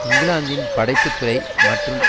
இங்கிலாந்தின் படைப்புத்துறை மற்றும்